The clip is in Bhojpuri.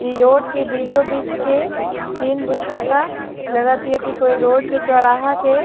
इ रोड के बीचो-बीच के सीन बुझाता लगत हेय की कोई रोड के चौराहा के --